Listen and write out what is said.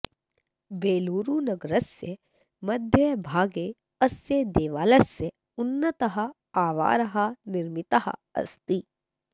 बेलूरुनगरस्य मध्यभागे अस्य देवालयस्य उन्नतः आवारः निर्मितः अस्ति